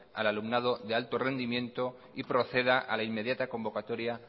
al alumnado de alto rendimiento y proceda a la inmediata convocatoria